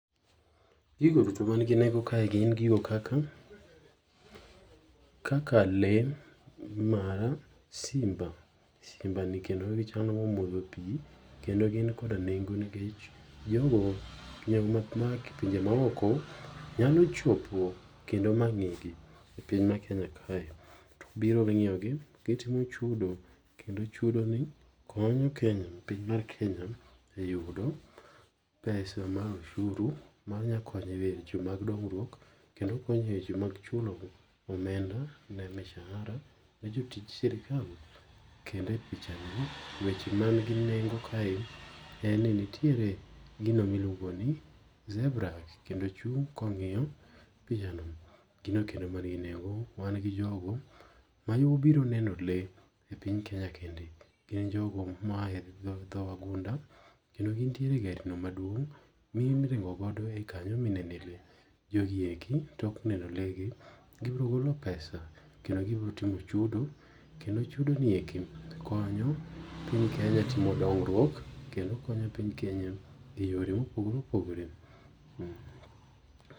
Gigo duto man gi nengo kae gin gigo kaka, kaka lee mar simba. simba ni chalma omodho pii kendo gin kod nengo nikech jogo ma owuok e pinje ma oko nyalo chopo kendo ma ng'igi. epiny mar Kenya kae. To biro dhi ng'iyogi keto chudo. Kendo chudo ni konyo Kenya piny mar Kenya e yudo, pesa mar oshuru ma nyalo konye e weche mag dongruok kendo konye eweche mag chulo omenda ne mshahara ne jotich sirkal. Kendo e pichani weche man gi nengo kae, en nitiere gino miluongoni zebra kendo ochung' kong'iyo pichano. Gi ng'a kendo mangi nengo? Wan gi jogo ma nyo obiro neno lee epiny kenya kende. gin jogo moae dhoo wagunda kendo gin nitiere garino maduong' miringo godo e kanyo mi nene lee. Jogi eki tok neno lee gi ,gibiro golo pesa kendo gi biro timo chudo. Kendo chudo ni eki, konyo piny Kenya timo dongruok, kendo konyo piny Kenya e yore mopogore opogore.